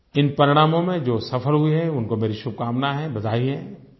इन परिणामों में जो सफल हुए हैं उनको मेरी शुभकामना है बधाई है